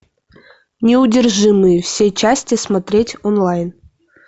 неудержимые все части смотреть онлайн